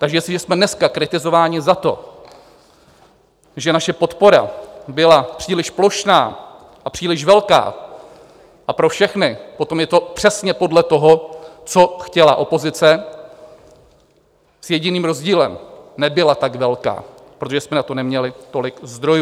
Takže jestliže jsme dneska kritizováni za to, že naše podpora byla příliš plošná a příliš velká a pro všechny, potom je to přesně podle toho, co chtěla opozice, s jediným rozdílem - nebyla tak velká, protože jsme na to neměli tolik zdrojů.